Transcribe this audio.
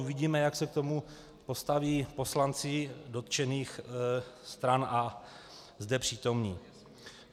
Uvidíme, jak se k tomu postaví poslanci dotčených stran a zde přítomní.